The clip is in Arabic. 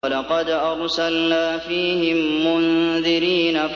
وَلَقَدْ أَرْسَلْنَا فِيهِم مُّنذِرِينَ